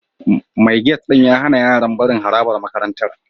Mai gate ɗin ya hana yaran barin harabar makarantar